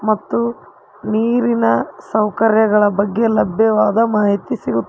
ಮತ್ತು ನೀರಿನ ಸೌಕರ್ಯಗಳ ಬಗ್ಗೆ ಲಭ್ಯವಾದ ಮಾಹಿತಿ ಸಿಗು--